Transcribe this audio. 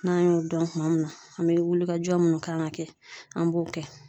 N'an y'o dɔn tuma min na an bɛ wulikajɔ minnu kan ka kɛ an b'o kɛ.